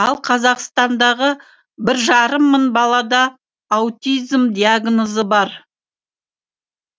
ал қазақстандағы бір жарым мың балада аутизм диагнозы бар